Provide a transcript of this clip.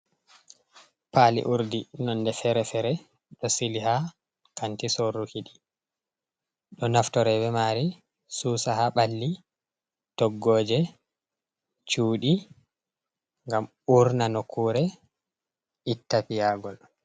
Paali urdi nonde fere-fere ɗo sili ha kanti sorruki ɗi, ɗo naftore be mari susa ha ɓalli, toggoje, cuuɗi, ngam urna nokkure itta piyagol.